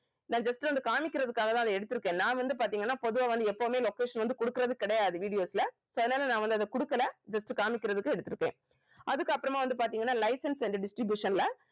நான் just வந்து காமிக்கிறதுக்காக தான் அதை எடுத்திருக்கேன் நான் வந்து பாத்தீங்கன்னா பொதுவா வந்து எப்பவுமே location வந்து குடுக்கிறது கிடையாது videos ல so அதனால நான் வந்து அதை குடுக்கல just காம்மிக்கறதுக்கு எடுத்திருக்கேன் அதுக்கு அப்புறமா வந்து பாத்தீங்கன்னா license and distribution ல